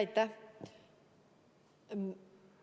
Aitäh!